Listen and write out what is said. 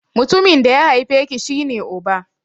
Mutumin da ya haife ki /ka shi ne Uba.